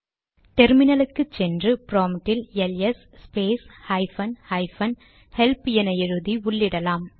டெர்மினலுக்கு சென்று ப்ராம்ட்டில் LS space hyphen hyphen help என எழுதி உள்ளிட்டலாம்